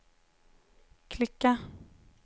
klicka